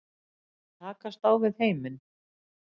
Takast á við heiminn.